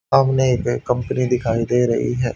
सामने एक कंपनी दिखाई दे रही है।